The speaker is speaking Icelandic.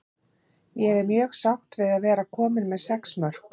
Ég er mjög sátt með að vera komin með sex mörk.